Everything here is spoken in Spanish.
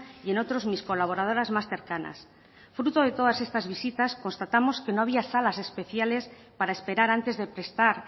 y en otros mis colaboradoras más cercanas fruto de todas estas visitas constatamos que no había salas especiales para esperar antes de prestar